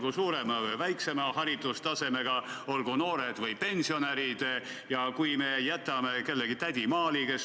Kas see seaduseelnõu või see muudatus teeb asja paremaks või edaspidi on jalgratas rongi peal täiesti keelatud?